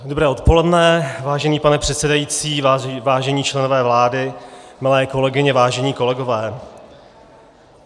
Dobré odpoledne, vážený pane předsedající, vážení členové vlády, milé kolegyně, vážení kolegové.